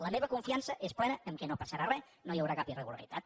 la meva confiança és plena que no passarà re que no hi haurà cap irregularitat